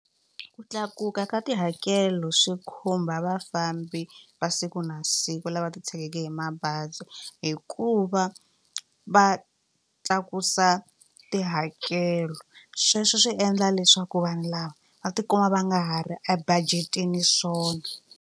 Ku tlakuka ka tihakelo swi khumba vafambi va siku na siku lava titshegeke hi mabazi hikuva va tlakusa tihakelo sweswo swi endla leswaku vanhu lava va ti kuma va nga ha ri ebajeteni swona.